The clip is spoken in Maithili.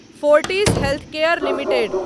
Fortis healthcare limited